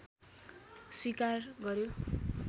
स्वीकार गर्‍यो